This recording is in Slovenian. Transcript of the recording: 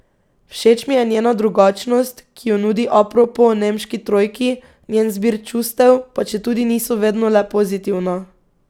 Všeč mi je njena drugačnost, ki jo nudi apropo nemški trojki, njen zbir čustev, pa četudi niso vedno le pozitivna.